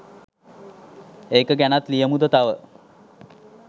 ඒක ගැනත් ලියමුද තව